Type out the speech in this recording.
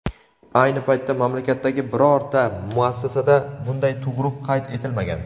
ayni paytda mamlakatdagi birorta muassasada bunday tug‘ruq qayd etilmagan.